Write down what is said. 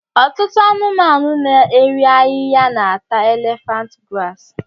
Ọtụtụ anụmanụ na-erì ahịhịa na-ata élèfànt grààsị